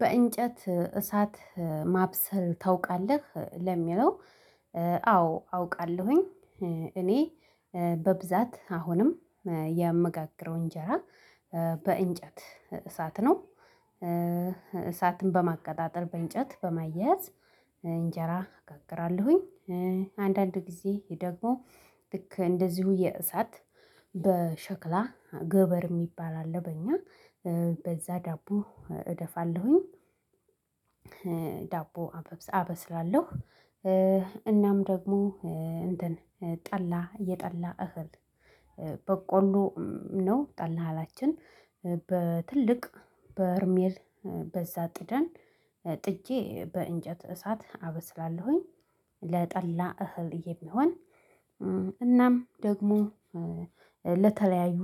በእንጨት እሳት ማብሰል ታውቃለህ? ለሚለው አዎ አውቃለሁኝ እኔ በብዛት አሁንም የምጋገረው እንጀራ በእንጨት እሳት ነው እሳትን በማቀጣጠል በእንጨት በማየያዝ እንጀራ እጋግራለሁኝ አንዳንድ ጊዜ ደግሞ ልክ እንደዚሁ የእሳት በሸክላ ገበር የሚባል አለ በእኛ በዛ ዳቦ እደፋለሁኝ ዳቦ አበብስ አበስላለሁ እናም ደግሞ እንትን ጠላ የጠላ እህል በቆሎ ነው ጠላ እህላችን በትልቅ በርሜል በዛ ጥደን ጥጄ በእንጨት እሳት አበስላለሁኝ ለጠላ እህል የሚሆን እናም ደግሞ ለተለያዩ